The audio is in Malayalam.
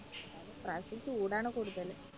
ഇപ്രാവശ്യം ചൂടാണ് കൂടുതല്